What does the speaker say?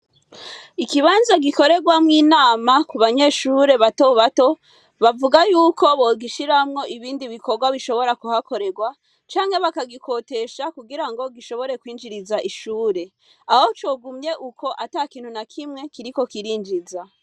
Ikibanza gikorerwamwo inama, abanyeshure batobato bavuga yuko bogishiramwo ibindi bikorwa bishobora kuhakorera, canke bakagikotesha kugirango gishobore kwinjiriza ishure aho cogumye uko atakindi nakimwee kiriko kirinjiza.